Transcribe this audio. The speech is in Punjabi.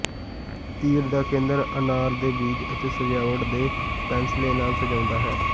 ਤੀਰ ਦਾ ਕੇਂਦਰ ਅਨਾਰ ਦੇ ਬੀਜ ਅਤੇ ਸਜਾਵਟ ਦੇ ਪੈਨਸਲੇ ਨਾਲ ਸਜਾਉਂਦਾ ਹੈ